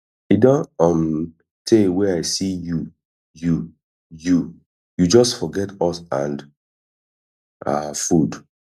e don um tey wey i see you you you you just forget us and our food